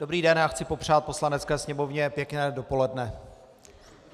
Dobrý den, já chci popřát Poslanecké sněmovně pěkné dopoledne.